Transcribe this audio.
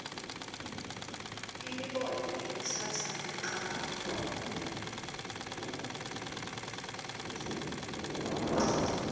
imibono ikhutsata kucabanga